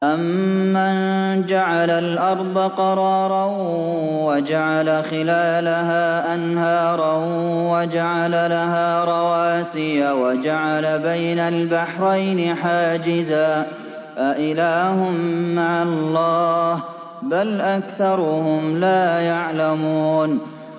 أَمَّن جَعَلَ الْأَرْضَ قَرَارًا وَجَعَلَ خِلَالَهَا أَنْهَارًا وَجَعَلَ لَهَا رَوَاسِيَ وَجَعَلَ بَيْنَ الْبَحْرَيْنِ حَاجِزًا ۗ أَإِلَٰهٌ مَّعَ اللَّهِ ۚ بَلْ أَكْثَرُهُمْ لَا يَعْلَمُونَ